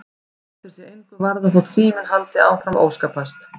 Og lætur sig engu varða þótt síminn haldi áfram að óskapast.